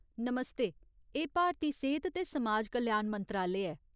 नमस्ते ! एह् भारती सेह्त ते समाज कल्याण मंत्रालय ऐ।